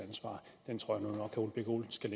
ansvar at herre ole birk olesen